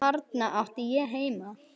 Þarna átti ég heima.